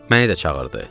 Məni də çağırdı.